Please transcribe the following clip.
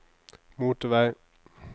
motorvei